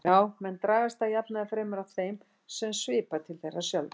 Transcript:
Já, menn dragast að jafnaði fremur að þeim sem svipar til þeirra sjálfra.